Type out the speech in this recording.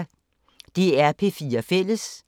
DR P4 Fælles